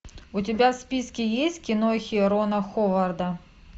у тебя в списке есть кинохи рона ховарда